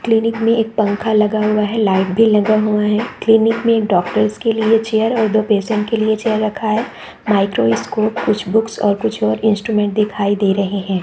Clinic में एक पंखा लगा हुआ है लाइट भी लगा हुआ है क्लीनिक में डॉक्टर्स के लिए चेयर और दो पेशेंट के लिए चेयर रखा है माइक्रोस्कोप कुछ बुक्स और कुछ और इंस्ट्रूमेंट दिखाई दे रहे है।